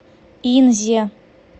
инзе